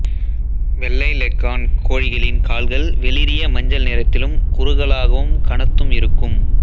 வெள்ளை லெக்கார்ன் கோழிகளின் கால்கள் வெளிரிய மஞ்சள் நிறத்திலும் குறுகலாகவும் கனத்தும் இருக்கும்